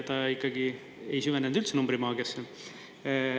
Ta ikkagi ei süvenenud üldse numbrimaagiasse.